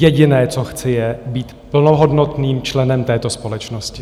Jediné, co chci, je být plnohodnotným členem této společnosti!